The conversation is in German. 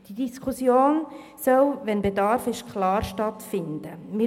Die Diskussion soll natürlich stattfinden, wenn Bedarf besteht.